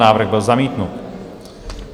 Návrh byl zamítnut.